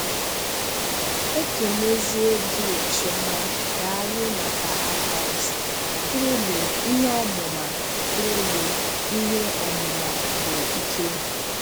Ekemeziè Gill Chioma, Dààlụ maka advice. Truly, ihe ọmụma Truly, ihe ọmụma bụ, ìkè.